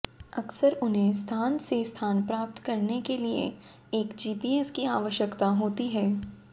अक्सर उन्हें स्थान से स्थान प्राप्त करने के लिए एक जीपीएस की आवश्यकता होती है